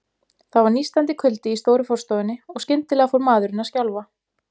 Það var nístandi kuldi í stóru forstofunni, og skyndilega fór maðurinn að skjálfa.